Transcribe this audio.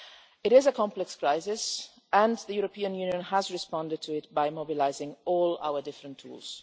It is a complex crisis and the European Union has responded to it by mobilising all our different tools.